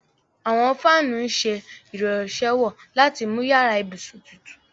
Àwọn fáanù ǹ ṣẹ irànṣéwọ̀ lati mú yara-íbusun tùtù.